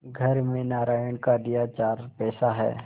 घर में नारायण का दिया चार पैसा है